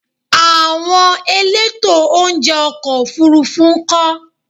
Àwọn elétò oúnjẹ ọkọ̀ Òfurufú ńkọ́?